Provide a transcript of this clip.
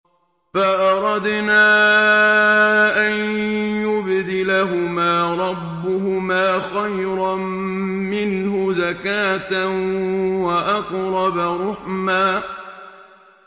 فَأَرَدْنَا أَن يُبْدِلَهُمَا رَبُّهُمَا خَيْرًا مِّنْهُ زَكَاةً وَأَقْرَبَ رُحْمًا